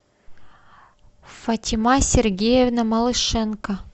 фатима сергеевна малышенко